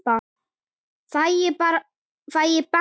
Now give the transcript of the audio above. Fæ ég bann?